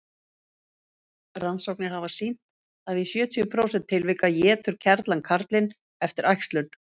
rannsóknir hafa sýnt að í sjötíu prósent tilvika étur kerlan karlinn eftir æxlun